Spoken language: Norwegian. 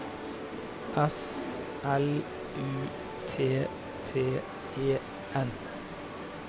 S L U T T E N